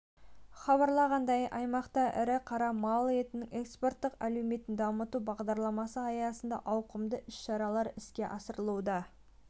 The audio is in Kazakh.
хабарлағандай аймақта ірі қара мал етінің экспорттық әлеуетін дамыту бағдарламасы аясында ауқымды шаралар іске асырылуда